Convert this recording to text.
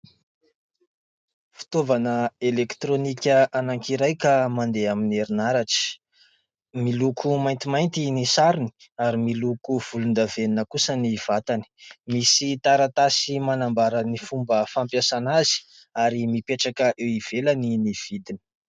Fitaovana elektronika anankiray ka mandeha amin'ny herinaratra. Miloko maintimainty ny sarony ary miloko volon-davenona kosa ny vatany; misy taratasy manambara ny fomba fampiasana azy, ary mipetraka eo ivelany ny vidiny.